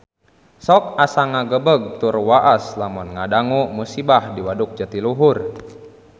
Sok asa ngagebeg tur waas lamun ngadangu musibah di Waduk Jatiluhur